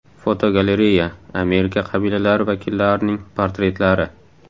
Fotogalereya: Amerika qabilalari vakillarining portretlari.